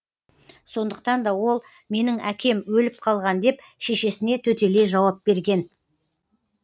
сондықтан да ол менің әкем өліп қалған деп шешесіне төтелей жауап берген